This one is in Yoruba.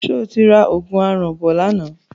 Ṣé o ra òògùn aràn bọ̀ lánàá?